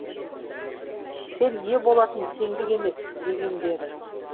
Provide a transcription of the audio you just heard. сен ие болатын теңдік емес дегендері